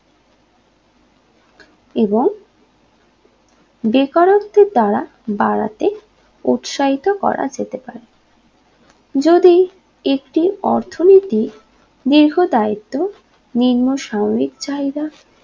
এবং বেকারত্বের দ্বারা বাড়াতে উৎসাহিত করা যেতে পারে যদি একটি অর্থনীতি দীর্ঘ দায়িত্ব নিম্ন সাময়িক চাহিদা